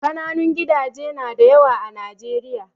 Kananun gidaje nada yawa a Najeriya